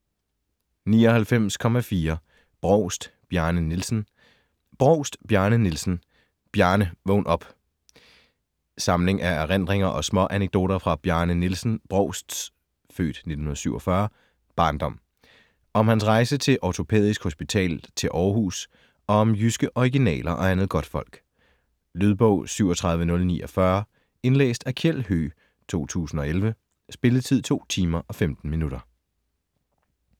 99.4 Brovst, Bjarne Nielsen Brovst, Bjarne Nielsen: Bjarne, vågn op! Samling af erindringer og småanekdoter fra Bjarne Nielsen Brovsts (f. 1947) barndom. Om hans rejse til Ortopædisk Hospital til Århus og om jyske originaler og andet godtfolk. Lydbog 37049 Indlæst af Kjeld Høegh, 2011. Spilletid: 2 timer, 15 minutter.